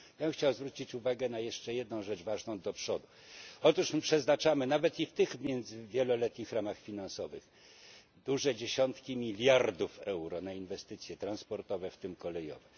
Ja bym chciał zwrócić uwagę na jeszcze jedną rzecz ważną do przodu otóż my przeznaczamy, nawet i w tych wieloletnich ramach finansowych, duże dziesiątki miliardów euro na inwestycje transportowe, w tym kolejowe.